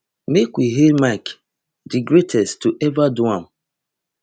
make we hail mike di greatest to ever do am